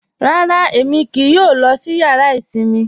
Rárá, Ẹmi kíì yọ lọ sí yàrà isinmi.